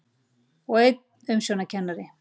Og einn umsjónarkennari.